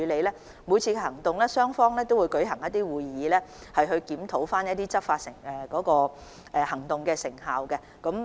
在每次行動後，雙方都會舉行會議檢討該次行動的成效。